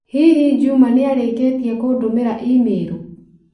Hihi Juma nĩrĩkĩtĩe kũndũmĩra i-mīrū